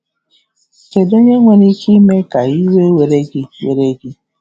Kedu onye nwere ike ime ka iwe were gị were gị?